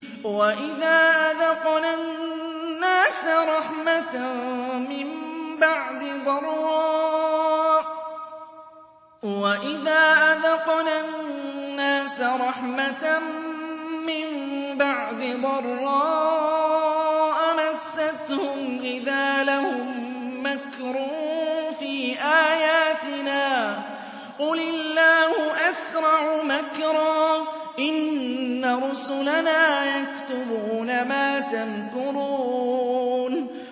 وَإِذَا أَذَقْنَا النَّاسَ رَحْمَةً مِّن بَعْدِ ضَرَّاءَ مَسَّتْهُمْ إِذَا لَهُم مَّكْرٌ فِي آيَاتِنَا ۚ قُلِ اللَّهُ أَسْرَعُ مَكْرًا ۚ إِنَّ رُسُلَنَا يَكْتُبُونَ مَا تَمْكُرُونَ